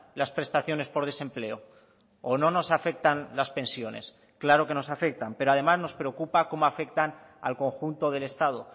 las prestaciones por desempleo o no nos afectan las pensiones claro que nos afectan pero además nos preocupa cómo afectan al conjunto del estado